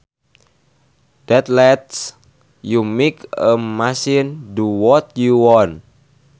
that lets you make a machine do what you want